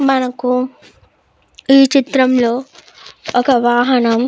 మనకు ఈ చిత్రంలో ఒక వాహనం --